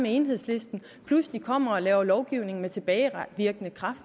enhedslisten pludselig kommer og laver lovgivning med tilbagevirkende kraft